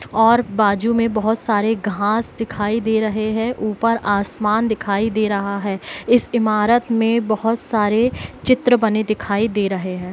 और बाजू में बहुत सारे घास दिखाई दे रहे हैं ऊपर आसमान दिखाई दे रहा है इस इमारत में बहुत सारे चित्र बने दिखाई दे रहे है।